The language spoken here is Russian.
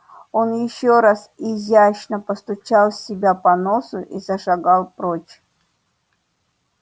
он ещё раз изящно постучал себя по носу и зашагал прочь